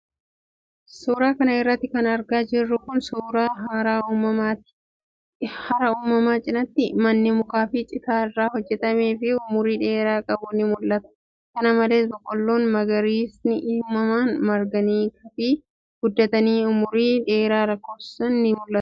Suura kana irratti kan argaa jirru kun, suura hara uumamaati. Hara kana cinaatti, manni mukaa fi citaa irraa hojjatamee fi umurii dheeraa qabu ni mul'ata. Kana malees, biqiloonni magariisni uumamaan marganii fi guddatanii umurii dheeraa lakkoofsisan ni mul'atu.